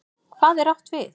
HVAÐ er átt við?